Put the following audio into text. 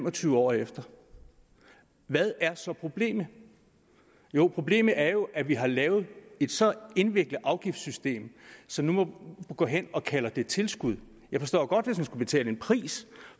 og tyve år efter hvad er så problemet jo problemet er jo at vi har lavet et så indviklet afgiftssystem så vi nu går hen og kalder det tilskud jeg forstår godt hvis man skulle betale en pris